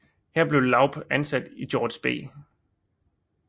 Her blev Laub ansat i George B